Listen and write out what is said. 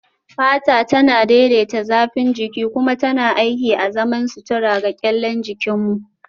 Fata tana daidaita zafin jiki kuma tana aiki azaman sutura ga kyallen jikin mu